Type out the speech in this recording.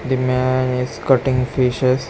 The man is cutting fishes.